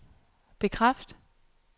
bekræft